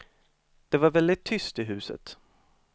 Det var väldigt tyst i huset.